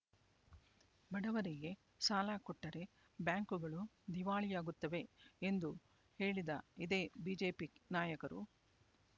ಬಡವರಿಗೆ ಸಾಲ ಕೊಟ್ಟರೆ ಬ್ಯಾಂಕುಗಳು ದಿವಾಳಿಯಾಗುತ್ತವೆ ಎಂದು ಹೇಳಿದ ಇದೇ ಬಿಜೆಪಿ ನಾಯಕರು